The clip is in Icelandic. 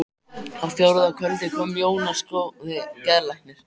Á fjórða kvöldi kom Jónas góði geðlæknir.